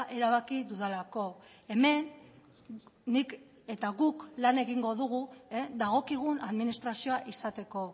erabaki dudalako hemen nik eta guk lan egingo dugu dagokigun administrazioa izateko